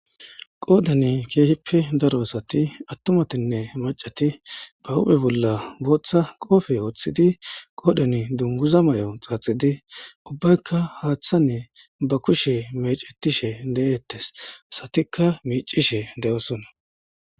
Qoodan keehippe daro asati, attumattinne maccati ,ba huuphphe bolla booththa qoophe woththidi , qoodhen dungguza mayo xaaxidi , ubaykka haththa miyen ba kushe meecetishe de7eetees. Asatikka meecishe de7oosona.